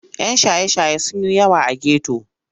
Yan shaye-shaye sun yi yawa a geto.